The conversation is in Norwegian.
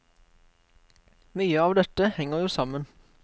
Mye av dette henger jo sammen.